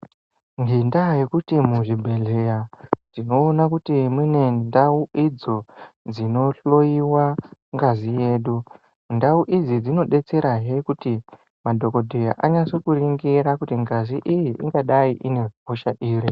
Ngenda yekuti muzvibhodhlera tinoona Kuti mune ndau idzo dzinohloiwa ngazi yedu. Ndau idzi dzinodetsera hee kuti madhokodheya anyatso kunringira kuti ngazi iyi ingadai ine hosha iri.